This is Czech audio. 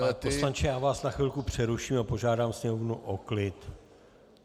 Pane poslanče, já vás na chvilku přeruším a požádám sněmovnu o klid.